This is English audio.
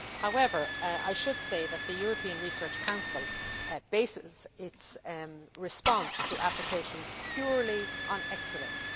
However, I should say that the European Research Council bases its response to applications purely on excellence.